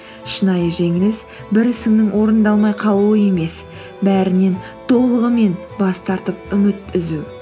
шынайы жеңіліс бір ісіңнің орындалмай қалуы емес бәрінен толығымен бас тартып үміт үзу